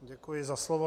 Děkuji za slovo.